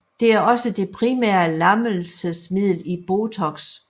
Det er også det primære lammelsesmiddel i botox